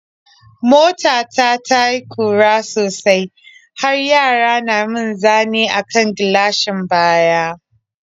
Mota ta ta yi ƙura sosai har yara na mun zane a kan gilashin baya.